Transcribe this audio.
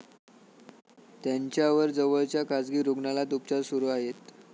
त्यांच्यावर जवळच्या खासगी रुग्णालयात उपचार सुरु आहेत.